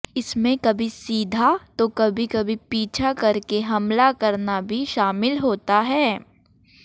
इसमें कभी सीधा तो कभी कभी पीछा कर के हमला करना भी शामिल होता है